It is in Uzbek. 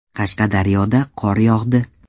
Qashqadaryoda qor yog‘di .